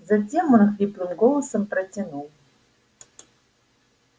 затем он хриплым голосом протянул